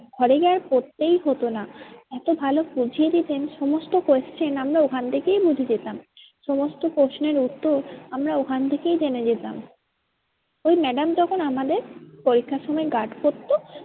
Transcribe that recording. ঘরে গিয়ে আর পড়তেই হতো না। এতো ভালো বুঝিয়ে দিতেন সমস্ত question আমরা ওখান থেকেই বুঝে যেতাম সমস্ত প্রশ্নের উত্তর আমরা ওখান থেকেই জেনে যেতাম। ওই madam যখন আমাদের পরীক্ষার সময় guard পড়তো